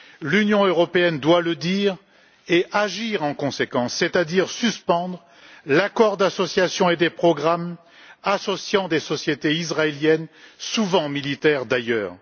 L'Union européenne doit le dire et agir en conséquence, c'est à dire suspendre l'accord d'association et les programmes associant des sociétés israéliennes, souvent militaires d'ailleurs.